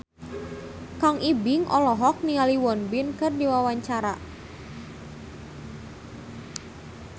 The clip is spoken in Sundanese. Kang Ibing olohok ningali Won Bin keur diwawancara